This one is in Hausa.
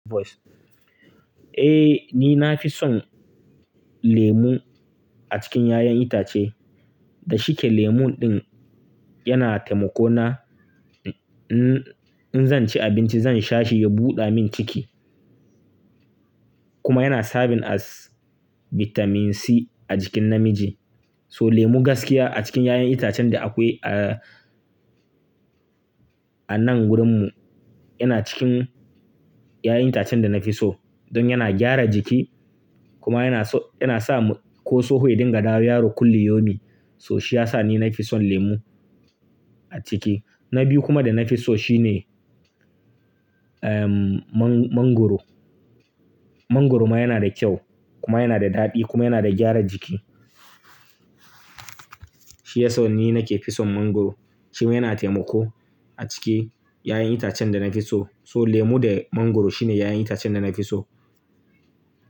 Eh, ni nafi son lemu a cikin ƴaƴan itace. Da shike lemon ɗin yana taimako na in, in zanci abinci zan shashi ya buɗamin ciki. Kuma yana sabin as Vitamin C a jikin namiji. So lemu gaskiya a cikin ƴaƴan itacen da akwai a, a nan wurin mu, yana cikin ƴaƴan itacen da na fi so. Don yana gyara jiki kuma yana so, yana sa ko tsoho ya dinga dawowa yaro kulli yomi. So shi ya sa ni na fi son lemu a ciki. Na biyu kuma da na fi so shine, ehm, man-mangwaro. Mangwaro ma yana da kyau kuma yana da daɗi kuma yana da gyara jiki. Shiyaso ni nake fison mangwaro. Shi ma yana taimako a ciki ƴaƴan itacen da na fi so. So lemu da mangwaro shine ƴaƴan itacen da na fi so.